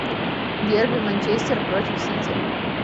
дерби манчестер против сити